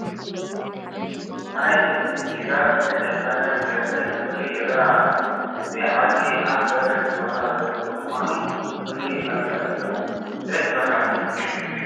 ናይ ትኪ ጭጋግ ዝተጨፈነ ገፀ ምድሪ ይርአ ኣሎ፡፡ እዚ ዓዲ ኣብ በሪኽ ቦታ ዘሎ ብምዃኑ ፍሉይ መልክዕ እኔዎ፡፡ ደስ በሃሊ እዩ፡፡